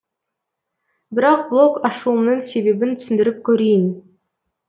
бірақ блог ашуымның себебін түсіндіріп көрейін